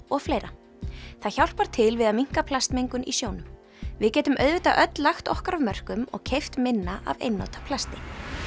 og fleira það hjálpar til við að minnka plastmengun í sjónum við getum auðvitað öll lagt okkar af mörkum og keypt minna af einnota plasti